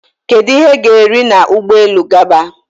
Kedu ihe ga eri na Ụgbọelu gaba?